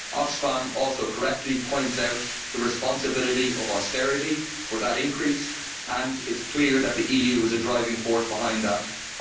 Oxfam also correctly points out the responsibility of austerity for that increase and it is clear that the EU is a driving force behind that.